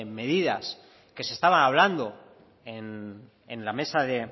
medidas que se estaba hablando en